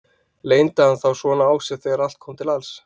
Leyndi hann þá svona á sér þegar allt kom til alls?